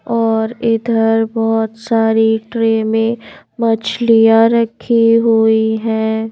और इधर बहुत सारी ट्रे में मछलियां रखी हुई हैं.